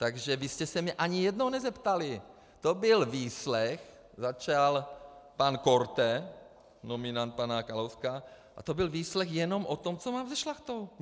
Takže vy jste se mě ani jednou nezeptali, to byl výslech, začal pan Korte, nominant pana Kalouska, a to byl výslech jenom o tom, co mám se Šlachtou.